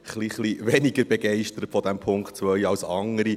Ich bin etwas weniger begeistert von diesem Punkt 2 als andere.